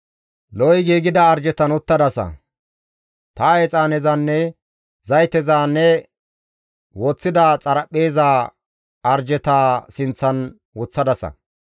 Lo7i giigida arjetan uttadasa; ta exaanezanne zayteza ne woththida xaraphpheeza arjetaa sinththan woththadasa.